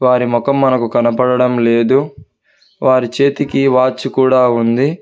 మరి మొఖం మనకు కనబడడం లేదు వారి చేతికి వాచ్ కూడా ఉంది.